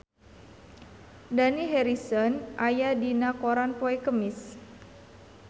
Dani Harrison aya dina koran poe Kemis